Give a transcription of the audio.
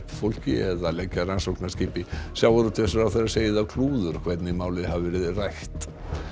fólki eða leggja rannsóknarskipi sjávarútvegsráðherra segir það klúður hvernig málið hafi verið rætt